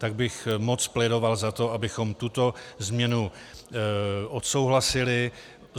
Tak bych moc plédoval za to, abychom tuto změnu odsouhlasili.